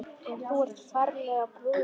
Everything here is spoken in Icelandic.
Og þú ferlega brún.